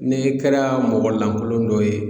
N'e kɛra mɔgɔ lankolon dɔ ye